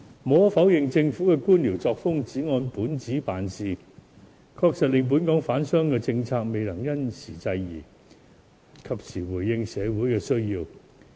無可否認，政府的官僚作風，只按本子辦事，確實令本港的商販政策未能因時制宜，及時回應社會的需要。